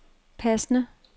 passende